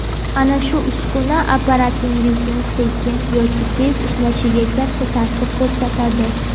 Ana shu uskuna apparatingiz sekin yoki tez ishlashiga katta ta’sir ko‘rsatadi.